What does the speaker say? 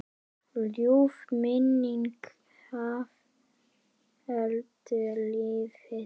Ljúf minning Haföldu lifir.